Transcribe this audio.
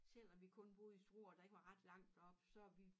Selvom vi kun boede i Struer og der ikke var ret langt derop så vi